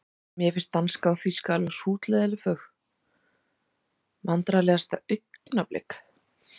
Mér finnst danska og þýska alveg hrútleiðinleg fög Vandræðalegasta augnablik?